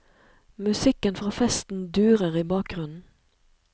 Musikken fra festen durer i bakgrunnen.